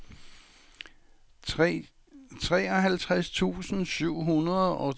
treoghalvfems tusind syv hundrede og treogfyrre